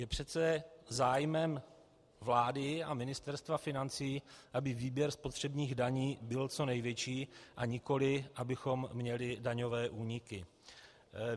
Je přece zájmem vlády a Ministerstva financí, aby výběr spotřebních daní byl co největší, a nikoli abychom měli daňové úniky.